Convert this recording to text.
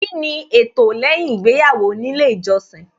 Kíni ẹtọ lẹ́yìn ìgbéyàwó nílé ìjọsìn